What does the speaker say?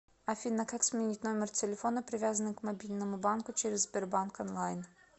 афина как сменить номер телефона привязанный к мобильному банку через сбербанк онлайн